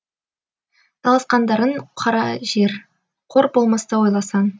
таласқандарың кара жер қор болмасты ойласаң